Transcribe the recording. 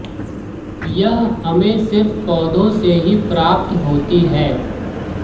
यह हमें सिर्फ पौधों से ही प्राप्त होती है